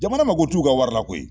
Jamana mago t'u ka wari la koyi